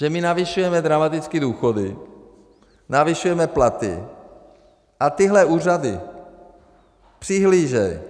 Že my navyšujeme dramaticky důchody, navyšujeme platy a tyhle úřady přihlížejí.